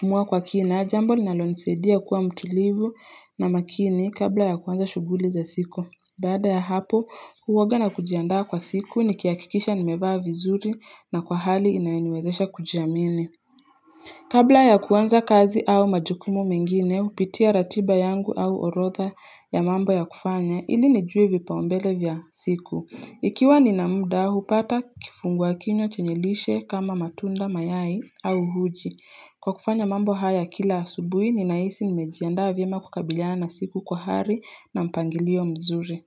kuamua kwa kina, jambo linalonisaidia kuwa mtulivu na makini kabla ya kuanza shughuli za siku. Baada ya hapo, huwa na jiandaa kwa siku nikihakikisha nimevaa vizuri na kwa hali inayoniwezesha kujiamini. Kabla ya kuanza kazi au majukumu mengine, hupitia ratiba yangu au orodha ya mambo ya kufanya, ili nijue vipaumbele vya siku. Ikiwa nina muda, hupata kifungua kinywa chenye lishe kama matunda, mayai au uji. Kwa kufanya mambo haya kila asubuhi, ninahisi nimejiandaa vyema kukabiliana na siku kwa hali na mpangilio mzuri.